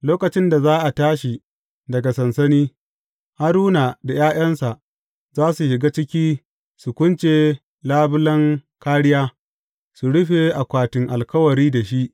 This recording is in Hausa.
Lokacin da za a tashi daga sansani, Haruna da ’ya’yansa za su shiga ciki su kunce labulen kāriya, su rufe Akwatin Alkawari da shi.